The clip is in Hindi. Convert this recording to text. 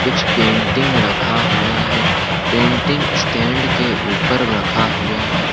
कुछ पेंटिंग रखा हुआ है पेंटिंग स्टैंड के ऊपर रखा हुआ है।